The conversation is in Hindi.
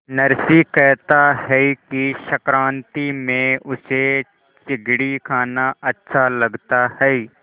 नरसी कहता है कि संक्रांति में उसे चिगडी खाना अच्छा लगता है